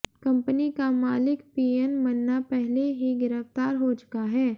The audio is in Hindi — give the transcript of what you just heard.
कंपनी का मालिक पीएन मन्ना पहले ही गिरफ्तार हो चुका है